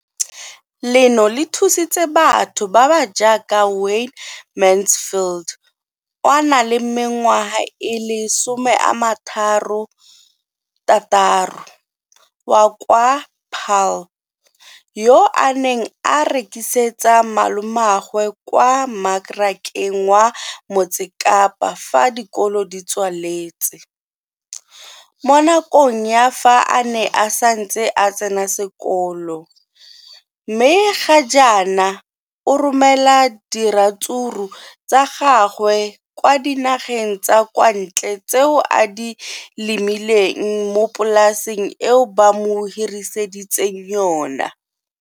Leno le thusitse batho ba ba jaaka Wayne Mansfield 33 wa kwa Paarl, yo a neng a rekisetsa malomagwe kwa Marakeng wa Motsekapa fa dikolo di tswaletse, mo nakong ya fa a ne a santse a tsena sekolo, mme ga jaana o romela diratsuru tsa gagwe kwa dinageng tsa kwa ntle tseo a di lemileng mo polaseng eo ba mo hiriseditseng yona.